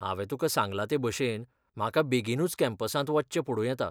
हांवें तुका सांगला ते भशेन, म्हाका बेगीनूच कॅम्पसांत वचचें पडूं येता.